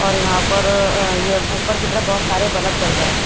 और यहां पर ये ऊपर की तरफ बहुत सारे बल्ब चल रहे हैं।